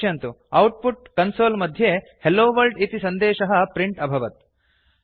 पश्यन्तु output console मध्ये hello world इति सन्देशः प्रिंट् अभवत्